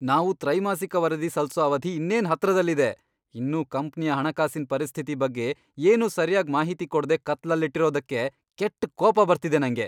ನಾವು ತ್ರೈಮಾಸಿಕ ವರದಿ ಸಲ್ಸೋ ಅವಧಿ ಇನ್ನೇನ್ ಹತ್ರದಲ್ಲಿದೆ. ಇನ್ನೂ ಕಂಪ್ನಿಯ ಹಣಕಾಸಿನ್ ಪರಿಸ್ಥಿತಿ ಬಗ್ಗೆ ಏನೂ ಸರ್ಯಾಗ್ ಮಾಹಿತಿ ಕೊಡ್ದೇ ಕತ್ಲಲ್ಲಿಟ್ಟಿರೋದ್ಕೆ ಕೆಟ್ಟ್ ಕೋಪ ಬರ್ತಿದೆ ನಂಗೆ.